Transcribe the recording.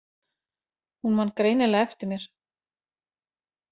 Hún man greinilega eftir mér.